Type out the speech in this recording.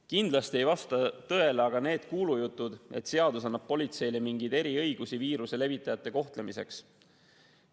Kindlasti ei vasta tõele aga need kuulujutud, et seadus annab politseile mingeid eriõigusi viiruse levitajate kohtlemiseks.